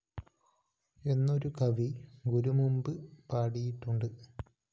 എന്നൊരു കവി ഗുരു മുമ്പ് പാടിയിട്ടുണ്ട്